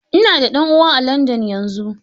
Ina da ɗan uwa a Landan yanzu.